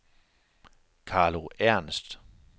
Carlo Ernst